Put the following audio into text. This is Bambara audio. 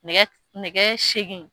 Nɛgɛ nɛgɛ seegin